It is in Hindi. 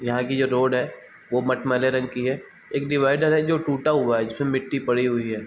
यहाँ की जो रोड है वो मठमैले रंग की है | एक डिवाइडर है जो टूटा हुआ है जिस पे मिट्टी पड़ी हुई है |